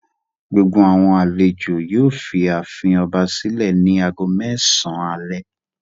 Gbogbo àwọn àlejò yóò fi ààfin ọba sílẹ̀ ní ago mẹ́sàn-án alẹ́.